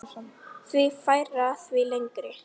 Því færra, því lengri.